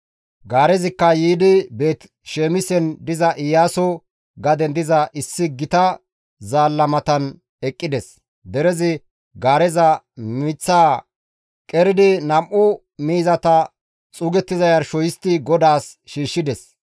Gaarezikka yiidi Beeti-Saamisen diza Iyaaso gaden diza issi gita zaalla matan eqqides; derezi gaareza miththaa qeridi nam7u miizata xuugettiza yarsho histti GODAAS shiishshides.